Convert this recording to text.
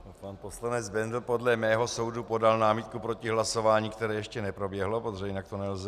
Pan poslanec Bendl podle mého soudu podal námitku proti hlasování, které ještě neproběhlo, protože jinak to nelze.